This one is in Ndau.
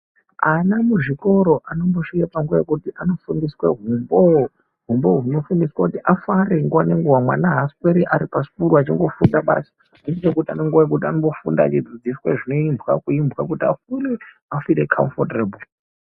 Ana muzvikora anosvika panguwa yekuti anombofundiswa humbo humbo hunofundiswa kuti afare nguwa ngenguwa mwana hasweri Ari pasikuru achingofunda basi vanomboita vachingofundiswa vakagara pasi kuti vafile kamufotebho.